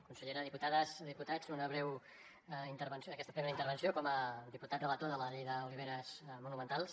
consellera diputades diputats una breu intervenció en aquesta primera intervenció com a diputat relator de la llei d’oliveres monumentals